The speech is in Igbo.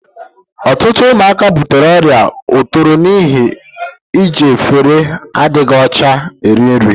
Ọtụtụ ụmụaka butere ọrịa otoro n'ihi iji efere adịghị ọcha eri nri.